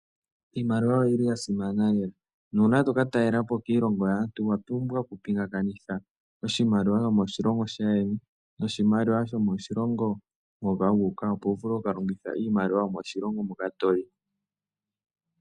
Iimaliwa oyi li ya simana uuna to ka talela koshilongo shaantu owa pumbwa okupingakanitha oshimaliwa shoko shilongo shaayeni noshimaliwa hoka wuuka ngoye wu vule oku ka longitha iimaliwa yoshilongo hoka toyi.